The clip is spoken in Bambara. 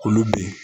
Olu be yen